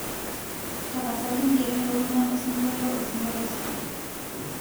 tapasali ingero elukunya osingolio osingolio sidai